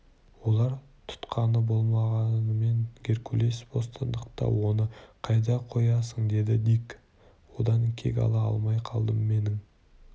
олар тұтқында болғанымен геркулес бостандықта оны қайда қоясың деді дик одан кек ала алмай қалдым менің